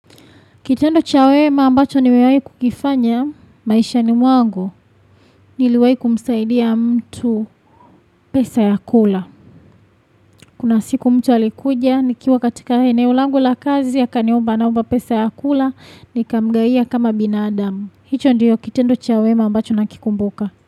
Kitendo cha wema ambacho nimewahi kukifanya maishani mwangu niliwahi kumsaidia mtu pesa ya kula. Kuna siku mtu alikuja nikiwa katika eneo langu la kazi akaniomba anaomba pesa ya kula nikamgawia kama binadamu. Hicho ndiyo kitendo cha wema ambacho nakikumbuka.